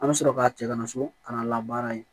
An bɛ sɔrɔ ka cɛ kana so kana labaara yen